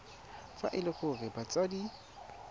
fa e le gore batsadi